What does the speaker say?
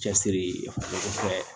Cɛsiri ko fɛn